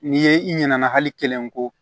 N'i ye i ɲinɛ hali kelen ko